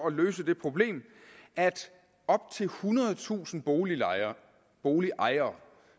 at løse det problem at op til ethundredetusind boligejere boligejere